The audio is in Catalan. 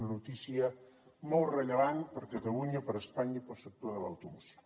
una notícia molt rellevant per catalunya per espanya i pel sector de l’automoció